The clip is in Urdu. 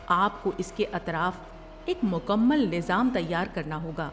آپ کو اس کے اطراف ایک مکمل نظام تیار کرنا ہوگا۔